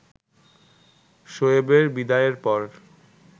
শোয়েবের বিদায়ের পর